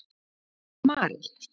Marel